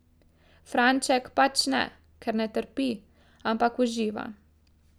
Franček pač ne, ker ne trpi, ampak uživa.